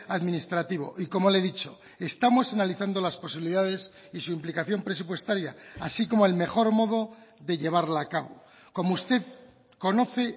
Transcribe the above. administrativo y como le he dicho estamos analizando las posibilidades y su implicación presupuestaria así como el mejor modo de llevarla a cabo como usted conoce